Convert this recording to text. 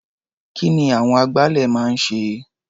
Kí ni àwọn agbálẹ̀ máa ń ṣe?